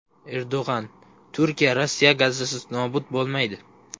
Erdo‘g‘on: Turkiya Rossiya gazisiz nobud bo‘lmaydi.